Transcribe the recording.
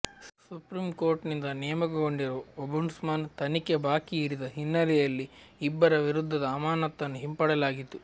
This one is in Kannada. ಸುಪ್ರೀಂಕೋರ್ಟಿನಿಂದ ನೇಮಕಗೊಂಡಿರುವ ಓಬುಂಡ್ಸ್ಮನ್ ತನಿಖೆ ಬಾಕಿ ಇರಿಸಿದ ಹಿನ್ನೆಲೆಯಲ್ಲಿ ಇಬ್ಬರ ವಿರುದ್ಧದ ಅಮಾನತನ್ನು ಹಿಂಪಡೆಯಲಾಗಿತ್ತು